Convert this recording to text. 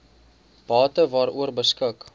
bate waaroor beskik